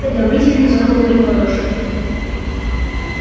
все одобрительно захлопали в ладоши